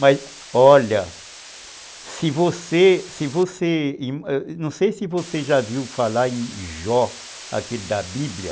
Mas olha, não sei se você se você, não sei se você já viu falar em Jó, aquele da Bíblia.